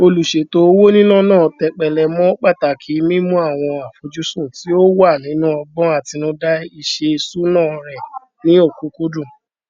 olùṣètò owó níná náà tẹpẹlẹ mọ pàtàkì mímú àwọn àfojúsùn tí ó wà nínú ọgbọn àtinúdá iṣèṣúná rẹ ní ọkúkúdùn